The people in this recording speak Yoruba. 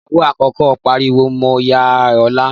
Ìyàwó àkọ́kọ́ pariwo mọ́ ìyá Ọlá.